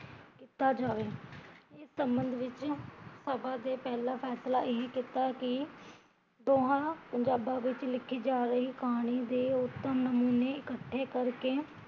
ਕੀਤਾ ਜਾਵੇ, ਇਸ ਸਬੰਦ ਵਿੱਚ ਸਬਾ ਦਾ ਪਹਿਲਾਂ ਫੈਸਲਾ ਇਹ ਕੀਤਾ ਕੀ ਦੋਹਾਂ ਪੰਜਾਬਾ ਵਿੱਚ ਲਿਖੀ ਜਾ ਰਹੀ ਕਹਾਣੀ ਦੇ ਉਤਮ ਨਮੂਨੇ ਇਕੱਠੇ ਕਰਕੇ